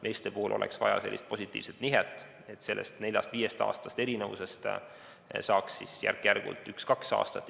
Meeste puhul oleks vaja positiivset nihet, et sellest nelja- või viieaastasest erinevusest saaks järk-järgult üks-kaks aastat.